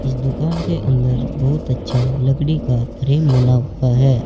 इस दुकान के अंदर बहुत अच्छा लकड़ी का फ्रेम बना हुआ है।